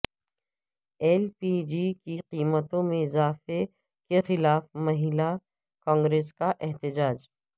L پی جی کی قیمتوں میں اضافے کے خلاف مہیلا کانگریس کا احتجاج